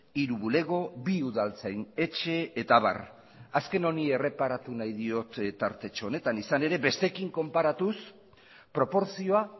hiru bulego bi udaltzain etxe eta abar azken honi erreparatu nahi diot tartetxo honetan izan ere besteekin konparatuz proportzioa